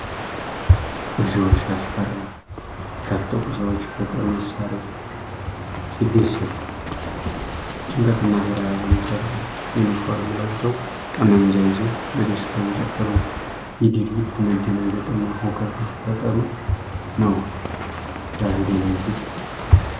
እግዚኦ ሲያስፈራ! የታጠቁ ሰዎች በጦር መሳሪያ ሲደሰቱ! ጭንቀትንና ፍርሃትን ይፈጥራል። ዩኒፎርም ለብሰው ጠመንጃ ይዘው በደስታ እየጨፍሩ ነው። ይህ ድርጊት መደናገጥንና ሁከት መፈጠሩን ነው። ሲያስደነግጥ!